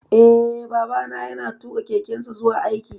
Eh, Babana ya na tuƙa kekensa zuwa aiki